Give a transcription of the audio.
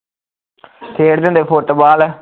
ਖੇਡਦੇ ਹੁੰਦੇ ਫੁੱਟਵਾਲ